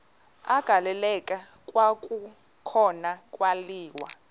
agaleleka kwakhona kwaliwa